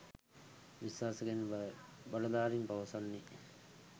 විශ්වාස කෙරෙන බවයි බලධාරීන් පවසන්නේ.